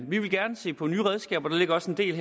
vi vil gerne se på nye redskaber der ligger også en del